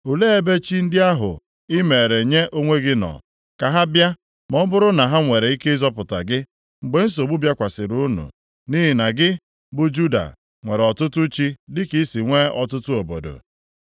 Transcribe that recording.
Olee ebe chi ndị ahụ i meere nye onwe gị nọ? Ka ha bịa, ma ọ bụrụ na ha nwere ike ịzọpụta gị, mgbe nsogbu bịakwasịrị unu. Nʼihi na gị, bụ Juda, nwere ọtụtụ chi dịka i si nwee ọtụtụ obodo.